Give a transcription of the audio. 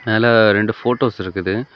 மேல ரெண்டு போட்டோஸ் இருக்குது.